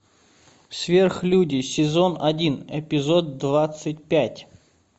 сверхлюди сезон один эпизод двадцать пять